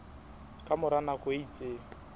ka mora nako e itseng